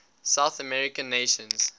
south american nations